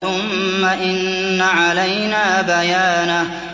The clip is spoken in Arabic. ثُمَّ إِنَّ عَلَيْنَا بَيَانَهُ